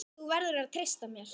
Þú verður að treysta mér